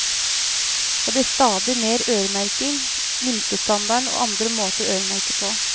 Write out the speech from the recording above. Det blir stadig mer øremerking, minstestandarder og andre måter å øremerke på.